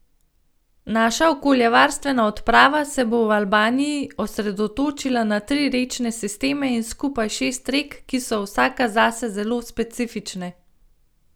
Naša okoljevarstvena odprava se bo v Albaniji osredotočila na tri rečne sisteme in skupaj šest rek, ki so vsaka zase zelo specifične.